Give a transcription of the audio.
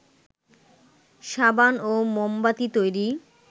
সাবান ও মোমবাতি তৈরি